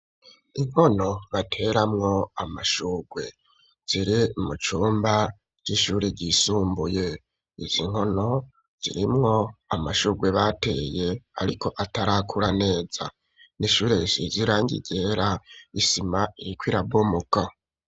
Inkono, bateramwo amashurwe; ziri mu cumba c'ishuri, ryisumbuye; izi nkono, zirimwo amashurwe bateye, ariko atarakura neza; ni ishure risize irangi ryera, isima iriko irabomoka.